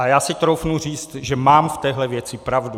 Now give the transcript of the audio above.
A já si troufnu říct, že mám v téhle věci pravdu.